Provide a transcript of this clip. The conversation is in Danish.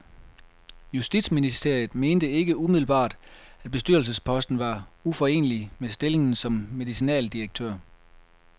Justitsministeriet mente ikke umiddelbart, at bestyrelsesposten var uforenelig med stillingen som medicinaldirektør.